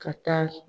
Ka taa